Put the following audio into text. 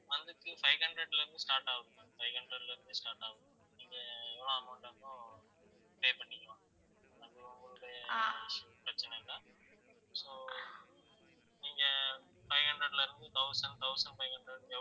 month க்கு ma'am five hundred ல இருந்து start ஆகுது five hundred ல இருந்து start ஆகுது நீங்க எவ்வளவு amount pay பண்ணிக்கலாம் அது உங்களுடைய issue பிரச்சனை இல்ல so நீங்க five hundred ல இருந்து thousand, thousand five hundred